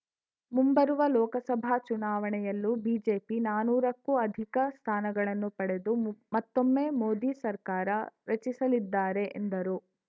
ಮುಂಬರುವ ಲೋಕಸಭಾ ಚುನವಾಣೆಯಲ್ಲೂ ಬಿಜೆಪಿ ನಾನೂರ ಕ್ಕೂ ಅಧಿಕ ಸ್ಥಾನಗಳನ್ನು ಪಡೆದು ಮು ಮತ್ತೊಮ್ಮೆ ಮೋದಿ ಸರ್ಕಾರ ರಚಿಸಲಿದ್ದಾರೆ ಎಂದರು